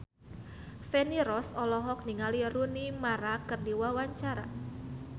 Feni Rose olohok ningali Rooney Mara keur diwawancara